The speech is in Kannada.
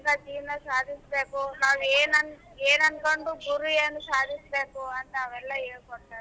ಜೀವನ ಸಾದಿಸಬೇಕು ನಾವ್ ಏನ್ ಅನ ಏನ್ ಅನಕೊಂಡರು ಗುರಿಯನ್ನ ಸಾದಿಸಬೇಕು ಅಂತ ಅವೆಲ್ಲ ಹೇಳ ಕೊಟ್ಟಾರ ನಮಗ.